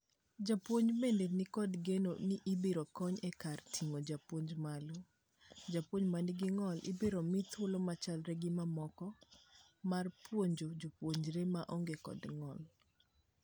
Jopuonj bende nikod geno ni biro konyo e kar ting'o jopuonj malo. Jopuonj manigi ng'ol ibiro mii thuolo machalre gi mamoko mar puonjo jopuonjre maonge kdo ng'ol.